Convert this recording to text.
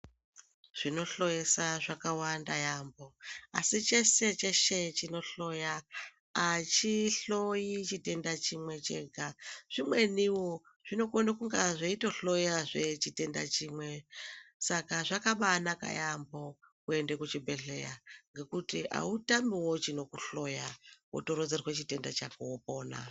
Zvinohloyesa zvakawanda yaemho, asi cheshe cheshe chinohloya, achihloyi chitenda chimwe chega, zvimweniwo zvinokona kunge zveitohloyawo chitenda chimwe, saka zvakabanaka yaemho kuenda kuchibhedhlera ngekuti utamiwo chinokudetsera kuhloya wotoronzerwa chitenda chako wopona.